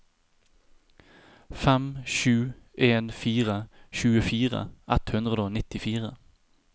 fem sju en fire tjuefire ett hundre og nittifire